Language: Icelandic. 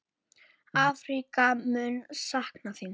Afríka mun sakna þín.